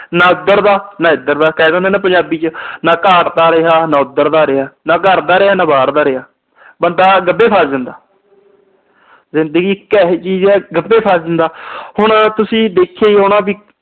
ਨਾ ਉਧਰ ਦਾ, ਨਾ ਇਧਰ ਦਾ। ਕਹਿ ਦਿੰਦੇ ਆ ਨਾ ਪੰਜਾਬੀ ਚ। ਨਾ ਘਾਟ ਦਾ ਰਿਹਾ, ਨਾ ਉਧਰ ਦਾ ਰਿਹਾ। ਨਾ ਘਰ ਦਾ ਰਿਹਾ, ਨਾ ਬਾਹਰ ਦਾ ਰਿਹਾ। ਬੰਦਾ ਗੱਬੇ ਫਸ ਜਾਂਦਾ। ਜਿੰਦਗੀ ਇਕ ਇਹੋ ਜੀ ਚੀਜ ਆ ਬੰਦਾ ਗੱਬੇ ਫਸ ਜਾਂਦਾ, ਹੁਣ ਤੁਸੀਂ ਦੇਖਿਆ ਈ ਹੋਣਾ ਕਿ